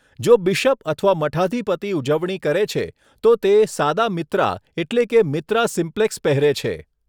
જો બિશપ અથવા મઠાધિપતિ ઉજવણી કરે છે, તો તે સાદા મિત્રા એટલે કે મિત્રા સિમ્પ્લેક્સ પહેરે છે.